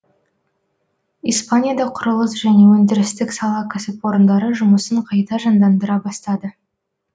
испанияда құрылыс және өндірістік сала кәсіпорындары жұмысын қайта жандандыра бастады